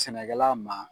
Sɛnɛkɛla ma